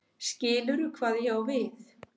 Skilurðu hvað ég á við?